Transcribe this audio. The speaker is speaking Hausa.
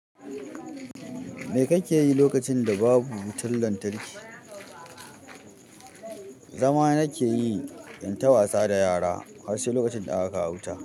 Me kake yi lokacin da babu wutan lantarki? Zama nake yi, in ta wasa da yara har sai lokacin da ka kawo wuta.